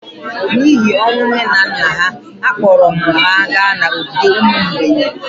n’ihi ọnwụ nne na nna ha, akpọrọ m ha gaa n’ogige ụmụ mgbei